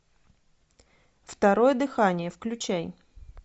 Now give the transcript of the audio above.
второе дыхание включай